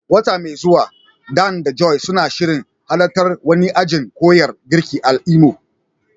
Wata mai zuwa, Dan da Joy suna shirin halartar wani ajin koyan girki a Imo.